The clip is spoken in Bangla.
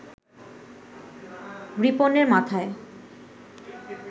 রিপনের মাথায়